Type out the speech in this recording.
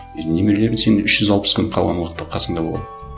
үй немерелерің сенің үш жүз алпыс күн қалған уақытта қасыңда болады